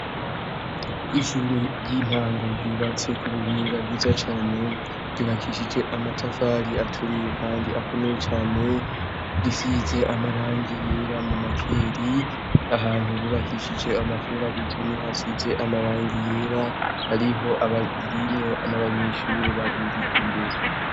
Ishuri ry’intango ryubatse kubuhinga bwiza cane , ryubakishije amatafari aturiye Kandi akomeye cane, risize amarangi yera mumakeri, ahantu bubakishije amaferabeto niho hasize amarangi yera ririmwo n’abanyeshure babiri imbere.